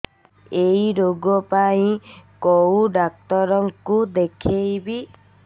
ଏଇ ରୋଗ ପାଇଁ କଉ ଡ଼ାକ୍ତର ଙ୍କୁ ଦେଖେଇବି